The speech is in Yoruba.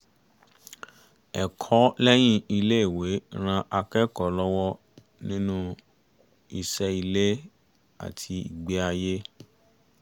ẹ̀kọ́ lẹ́yìn iléèwé ràn akẹ́kọ̀ọ́ lọwọ nínú iṣẹ́ ilé àti ìgbé ayé